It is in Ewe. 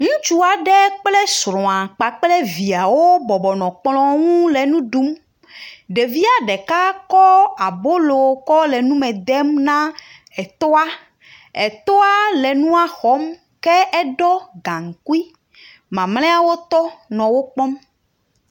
Ŋutsu aɖe kple srɔ̃a kpakple viawo bɔbɔnɔ kplɔ nu le nu ɖum. Ɖevia ɖeka kɔ abolo kɔ le nume dem na etɔa. Etɔa le nua xɔm ke eɖɔ gaŋkui. Mamleawo tɔ nɔ wo kpɔm.